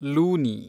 Luni